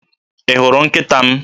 Ị hụrụ nkịta m?